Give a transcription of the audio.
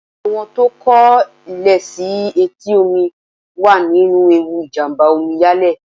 Àwọn tó kọ́ lé sí etí omi wà nínú ewu ìjàmbá Omi yalé.